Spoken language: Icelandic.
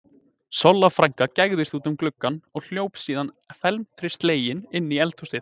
Solla frænka gægðist út um gluggann og hljóp síðan felmtri slegin inn í eldhúsið.